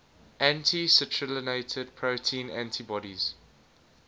anti citrullinated protein antibodies